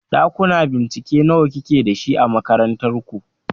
Ɗakuna bincike nawa kike dashi a makarantar ku?